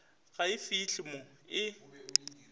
ga e fihle mo e